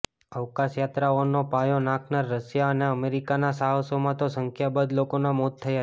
અવકાશયાત્રાઓનો પાયો નાંખનાર રશિયા અને અમેરિકાના સાહસોમાં તો સંખ્યાબંધ લોકોનાં મોત થયાં છે